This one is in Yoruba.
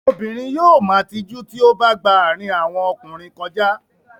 Obìnrin yóò ma tijú tí ó bá gba àárín àwọn ọkùnrin kọjá.